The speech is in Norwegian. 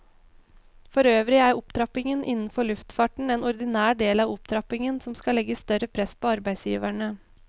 Forøvrig er opptrappingen innenfor luftfarten en ordinær del av opptrappingen som skal legge større press på arbeidsgiverne.